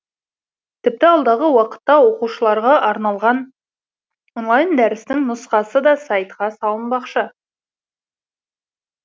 тіпті алдағы уақытта оқушыларға арналған онлайн дәрістің нұсқасы да сайтқа салынбақшы